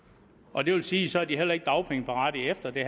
og det vil sige at så er de heller ikke dagpengeberettigede efter det